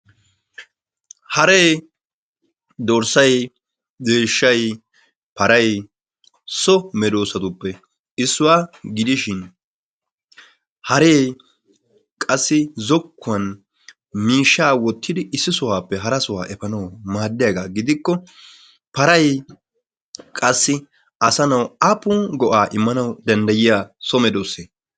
Haree, dorssay, deeshshay, paray so medoossatuppe issuwa gidishin haree qassi zokkuwan miishshaa wottidi issi sohuwappe hara sohuwa efanawu maaddiyagaa gidikko paray qassi asanawu aappun go'aa immanawu danddayiya so medoosse?